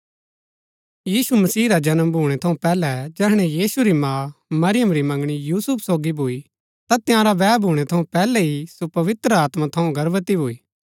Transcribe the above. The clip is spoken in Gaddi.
यीशु मसीह रा जन्म भूणै थऊँ पैहलै जैहणै यीशु री माँ मरियम री मंगणी यूसुफ सोगी भूई ता तंयारा बैह भूणै थऊँ पैहलै ही सो पवित्र आत्मा थऊँ गर्भवती भूई